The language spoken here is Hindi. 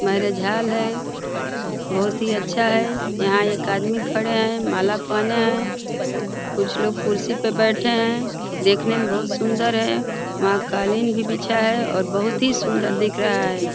मैरेज हाल है। बहोत ही अच्छा है। यहाँ एक आदमी खड़ा है। माला पहने है। कुछ लोग कुर्सी पर बैठे हैं। देखने में बहोत सुंदर है। वहाँ कालीन भी बिछा है और बहोत ही सुंदर दिख रहा है।